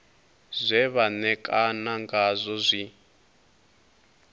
zwe vha ṋekana ngazwo zwi